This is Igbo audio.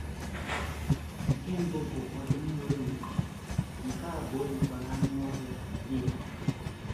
Nke mbụ bụ ọdụm nwere nku, nke abụọ yikwara anụ ọhịa bear.